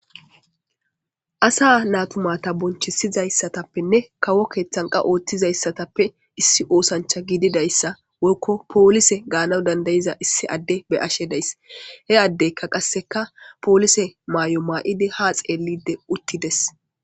Asa natumata bonchisizayssatappenne kawo keeththanqa ooththizayssatappe issi oosancha giididayssa wolko poolise gaanan dandayiza issi adde be ashe dayss he addeykka qasseka poolise maay'o maa'idi haa xeelide uttides.